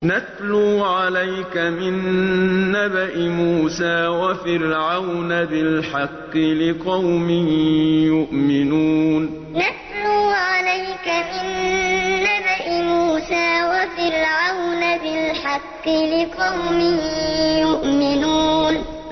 نَتْلُو عَلَيْكَ مِن نَّبَإِ مُوسَىٰ وَفِرْعَوْنَ بِالْحَقِّ لِقَوْمٍ يُؤْمِنُونَ نَتْلُو عَلَيْكَ مِن نَّبَإِ مُوسَىٰ وَفِرْعَوْنَ بِالْحَقِّ لِقَوْمٍ يُؤْمِنُونَ